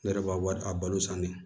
Ne yɛrɛ b'a wari a balo san de